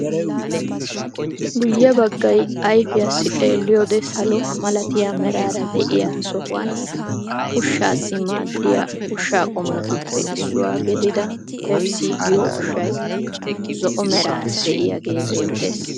Guyye baggay ayfiyaassi xeeliyode salo malatiya meraara de'iya sohuwan ushshaassi maadiya ushsha qommotuppe issuwa gidida pepisi giyo ushshay zo"o meraara diyaagee beetees.